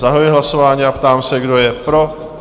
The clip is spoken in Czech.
Zahajuji hlasování a ptám se, kdo je pro?